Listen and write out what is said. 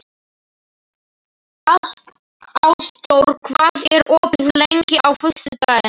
Ásdór, hvað er opið lengi á föstudaginn?